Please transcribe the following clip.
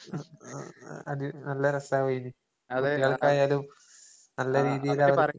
അത് നല്ല രസാവേഞ്ഞു. കുട്ടികൾക്കായാലും നല്ല രീതീലവർക്ക്